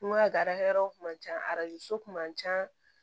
N ko a ka yɔrɔw kun ma ca kun man ca